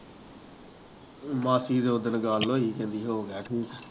ਮਾਸੀ ਨਾਲ ਉੱਦਣ ਗੱਲ ਹੋਈ ਕਹਿੰਦੀ ਹੋ ਗਿਆ ਠੀਕ।